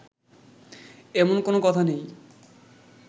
এমন কোন কথা নেই